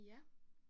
Ja